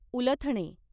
उलथणे